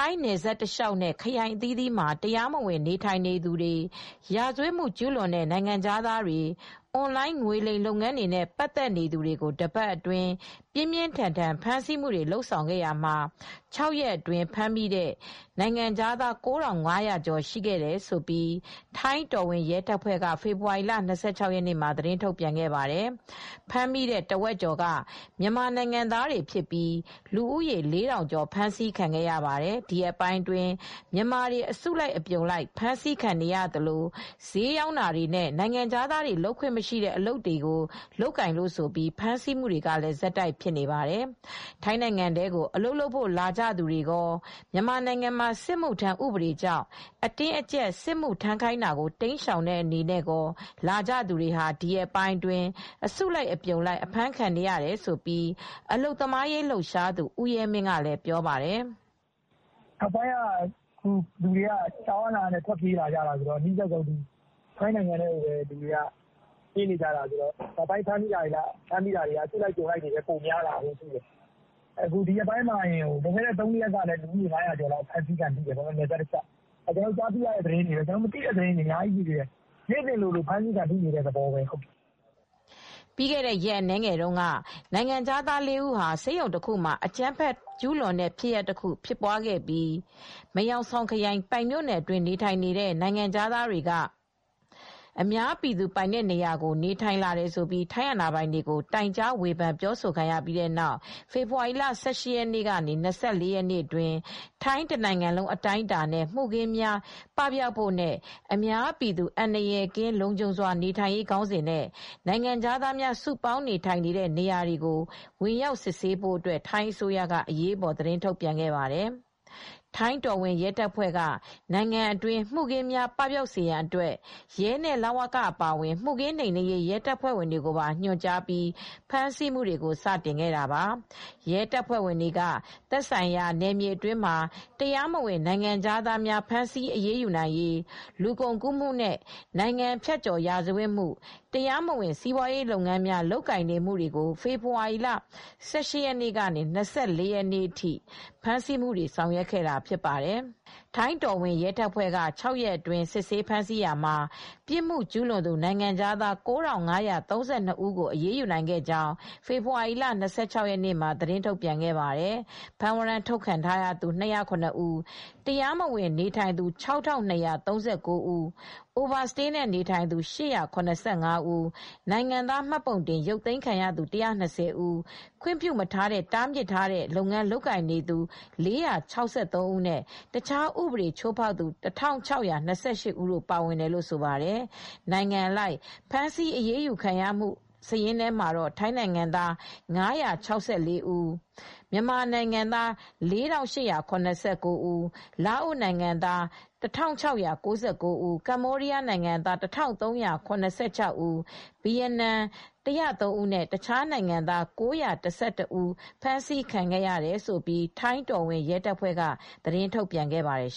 ိုင်းနယ်စပ်တလျှောက်နဲ့ ခရိုင်အသီးသီးမှာ တရားမဝင်နေထိုင်နေသူတွေ၊ ရာဇဝတ်မှုကျူးလွန်တဲ့ နိုင်ငံခြားသားတွေ ၊ အွန်လိုင်းငွေလိမ်လုပ်ငန်းတွေနဲ့ပတ်သက်သူတွေကိုတပတ်အတွင်းပြင်းပြင်းထန်ထန်ဖမ်းဆီးလာတာမှာ ၆ရက်အတွင်းဖမ်းမိတဲ့နိုင်ငံခြားသား ၉၅၀၀ ကျော်ရှိတယ်လို့ ထိုင်းတော်ဝင်ရဲတပ်ဖွဲ့က ဖေဖေါ်ဝါရီလ ၂၆ ရက်နေ့မှာ သတင်းထုတ်ပြန်ခဲ့ပါတယ်။ ဖမ်းမိတဲ့အထဲမှာ တဝက်ကျော်က မြန်မာနိုင်ငံသားတွေဖြစ်ပြီး လူဦးရေ ၄ထောင်ကျော်ဖြစ်ပါတယ်။ ဒီရက်ပိုင်းအတွင်းမြန်မာတွေ အစုလိုက်အပြုံလိုက်ဖမ်းဆီးခံနေရသလို စျေးရောင်းတာတွေနဲ့ နိုင်ငံခြားသားတွေလုပ်ခွင့်မရှိတဲ့ အလုပ်အကိုင်တွေကို ဝင်လုပ်လို့ဆိုပြီး ဆက်တိုက်ဖမ်းဆီးနေတာပါ။ ထိုင်းနိုင်ငံထဲကို အလုပ်လုပ်ဖို့လာကြသူတွေရော မြန်မာနိုင်ငံမှာစစ်မှု ထမ်းဥပဒေကြောင့် အတင်းအကြပ် စစ်မှု ထမ်းခိုင်းတာကိုတိမ်းရှောင်တဲ့အနေနဲ့ရော ထိုင်းကို ဝင်လာကြသူတွေ ဒီရက်ပိုင်းအတွင်း အစုလိုက်အပြုံလိုက်အဖမ်းခံနေရတယ်လို့ အလုပ်သမားရေးလှုပ်ရှားသူ ဦးရဲမင်းကလည်းပြောပါတယ်။ “လူတွေက ကြောက်အားလန့်အားနဲ့ ထွက်ပြေးနေကြတာဆိုတော့ အနီးစပ်ဆုံး ထိုင်းနိုင်ငံထဲကိုပဲပြေးလာကြတာ။ နောက်ပိုင်းမှာလည်း အစုလိုက်အပြုံလိုက်ထွက်ပြေးလာမယ့်အခြေအနေတွေရှိပါတယ်။ အခုလည်းဒီရက်ပိုင်းမှာပဲ လွန်ခဲ့တဲ့ ၃ရက်လောက်ကပဲဖမ်းမိတာက ၅၀၀ကျော်ရှိတယ်။ ကျနော်တို့သိတဲ့သတင်းပဲရှိသေးတယ်။ မသိတာတွေကအများကြီးပဲ နေ့စဉ်လည်းအဖမ်းခံနေရပါတယ်။” ပြီးခဲ့တဲ့ ရက်အနည်းငယ်တုန်းကလည်း နိုင်ငံခြားသား ၄ ဦး ဆေးရုံတခုမှာ အကြမ်းဖက်ကျူးလွန်တဲ့ဖြစ်စဉ်တရပ်ဖြစ်ပွားခဲ့ပါသေးတယ်။ မယ်ဟောင်ဆောင်ခရိုင်၊ ပိုင်မြို့နယ်အတွင်းနေထိုင်နေတဲ့ နိုင်ငံခြားသားတွေက အများပြည်သူပိုင်တဲ့နေရာတွေမှာ နေထိုင်လာတယ်ဆိုပြီး ထိုင်းအာဏာပိုင်တွေ တိုင်ကြား ဝေဖန်ပြောဆိုခံခဲ့ရတာပါ။ အဲဒီနောက် ဖေဖော်ဝါရီ ၁၈ ရက်နေ ၂၄ ရက်အတွင်း ထိုင်းတနိုင်ငံလုံးအတိုင်းအတာနဲ့ မှုခင်း ပပျောက်စေဖို့နဲ့ အများပြည်သူအန္တရာယ်ကင်း လုံခြုံစွာနေထိုင်နိုင်ရေး ခေါင်းစဉ်နဲ့ နိုင်ငံခြားသားများစုပေါင်းနေထိုင်တဲ့နေရာတွေကို ဝင်ရောက်စစ်ဆေးဖို့အတွက် ထိုင်းအစိုးရက အရေးပေါ်ထုတ်ပြန်ခဲ့တာပါ။ ထိုင်းတော်ဝင်ရဲတပ်ဖွဲ့က နိုင်ငံအတွင်းမှုခင်းတွေ ပပျောက်စေရေးအတွက်ရဲနဲ့ လ၀က အပါအဝင် မှုခင်းနှိမ်နင်းရေးရဲတပ်ဖွဲ့တွေကို ညွှန်ကြားပြီး စတင်ဖမ်းဆီးလာခဲ့တာဖြစ်ပါတယ်။ ရဲတပ်ဖွဲ့တွေက သက်ဆိုင်ရာ နယ်မြေအတွင်းမှာ တရားမဝင်နိုင်ငံခြားသားတွေကို ဖမ်းဆီးအရေးယူနိုင်ရေး၊ လူကုန်ကူးမှု နဲ့ နိုင်ငံဖြတ်ကျော်ရာဇဝတ်မှု၊ တရားမဝင် စီးပွားရေးလုပ်ငန်းများလုပ်ကိုင်နေမှုတွေကို ဖေဖော်ဝါရီ ၁၈ ရက်ကနေ ၂၄ ရက်အထိ ဖမ်းဆီးအရေးယူဆောင်ရွက်ခဲ့တာဖြစ်ပါတယ်။ ထိုင်းတော်ဝင်ရဲတပ်ဖွဲ့က ၆ ရက်အတွင်းစစ်ဆေးဖမ်းဆီးရာမှာ ပြစ်မှုကျူးလွန်သူ နိုင်ငံခြားသား ၉၅၃၂ ဦးတို့ကို အရေးယူနိုင်ခဲ့ကြောင်း ဖေဖော်ဝါရီလ ၂၆ ရက်နေ့က သတင်းထုတ်ပြန်ခဲ့ပါတယ်။ ဖမ်းဝရမ်းထုတ်ထားပြီးသူ ၂၀၇ ဦး၊ တရားမဝင်နေထိုင်သူ ၆၂၃၉ ဦး၊ Over stay နဲ့နေထိုင်သူ၈၇၅ ဦး၊ နိုင်ငံသားမှတ်ပုံတင်ရုပ်သိမ်းခံထားရသူ ၁၂၀ ဦး၊ ခွင့်မပြုမထားတဲ့ တားမြစ်လုပ်ငန်းလုပ်ကိုင်သူ ၄၆၃ ဦးနဲ့ အခြားဥပဒေချိုးဖောက်သူ ၁၆၂၈ ဦးတိုပါဝင်တယ်လို့ဆိုပါတယ်။ နိုင်ငံအလိုက်ဖမ်းဆီးအရေးယူခံရသူတွေထဲမှာတော့ ထိုင်းနိုင်ငံသား ၅၆၄ ဦး၊ မြန်မာနိုင်ငံသား ၄၈၇၉ ဦး၊ လာအို ၁၆၉၉ ဦး၊ ကမ္ဘောဒီးယား ၁၃၇၆ ဦး၊ ဗီယက်နမ် ၁၀၃ ဦနဲ့ အခြားနိုင်ငံသား ၉၁၁တို့ ပါဝင်တယ်လို့လည်း ထိုင်းတော်ဝင်ရဲတပ်ဖွဲ့က သတင်း ထုတ်ပြန်ခဲ့ပါတယ်